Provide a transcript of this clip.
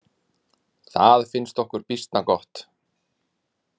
Það finnst okkur býsna gott!